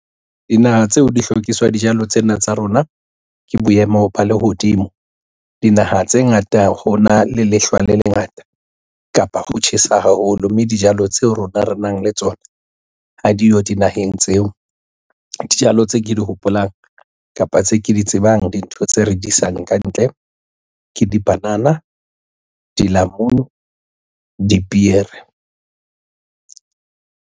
Dinaha tseo di hlokiswa dijalo tsena tsa rona ke boemo ba lehodimo. Dinaha tse ngata ho na le lehlwa le lengata kapa ho tjhesa haholo, mme dijalo tseo rona re nang le tsona ha diyo dinaheng tseo. Dijalo tse ke di hopolang, kapa tse ke di tsebang dintho tse re di isang kantle ke dipanana, dilamunu, dipiere.